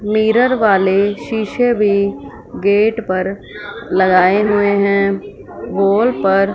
mirror वाले शीशे भी गेट पर लगाए हुए है वॉल पर--